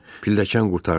Pilləkən qurtardı.